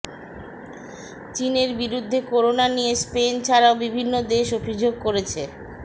চীনের বিরুদ্ধে করোনা নিয়ে স্পেন ছাড়াও বিভিন্ন দেশ অভিযোগ করেছে